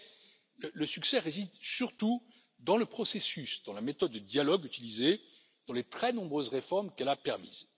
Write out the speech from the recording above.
Mais le succès réside surtout dans le processus, dans la méthode de dialogue utilisée, dans les très nombreuses réformes qu'elle a permises.